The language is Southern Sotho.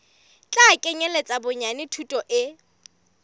tla kenyeletsa bonyane thuto e